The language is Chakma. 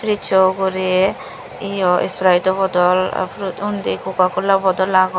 prizzo ugurey yeo sprido bodol apro undi cococola boddol agon.